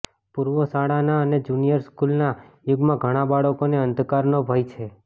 પૂર્વશાળાના અને જુનિયર સ્કૂલના યુગમાં ઘણા બાળકોને અંધકારનો ભય છે